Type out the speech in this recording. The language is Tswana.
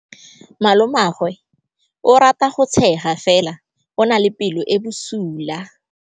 Malomagwe o rata go tshega fela o na le pelo e e bosula.